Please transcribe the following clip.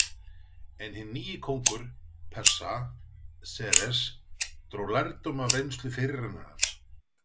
En hinn nýi kóngur Persa, Xerxes, dró lærdóm af reynslu fyrirrennarans.